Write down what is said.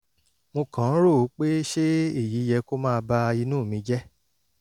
mo kàn ń rò ó pé ṣe èyí yẹ kó máa ba inú mi jẹ́